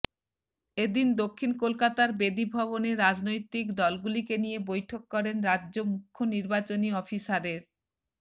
এ দিন দক্ষিণ কলকাতার বেদী ভবনে রাজনৈতিক দলগুলিকে নিয়ে বৈঠক করেন রাজ্য মুখ্য নির্বাচনী অফিসারের